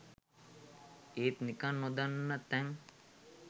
ඒත් නිකං නොදන්න තැං